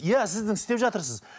иә сіздің істеп жатырсыз